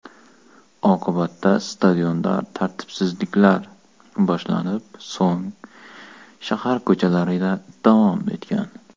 Oqibatda stadionda tartibsizliklar boshlanib, so‘ng shahar ko‘chalarida davom etgan.